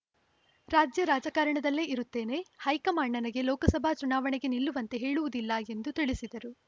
ರಾಜ್ಯ ರಾಜಕಾರಣದಲ್ಲೇ ಇರುತ್ತೇನೆ ಹೈಕಮಾಂಡ್‌ ನನಗೆ ಲೋಕಸಭಾ ಚುನಾವಣೆಗೆ ನಿಲ್ಲುವಂತೆ ಹೇಳುವುದಿಲ್ಲ ಎಂದು ತಿಳಿಸಿದರು